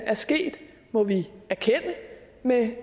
er sket må vi erkende med